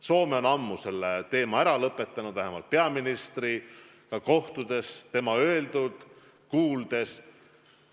Soome on ammu selle teema ära lõpetanud, vähemalt peaministriga kohtudes ta nii ütles.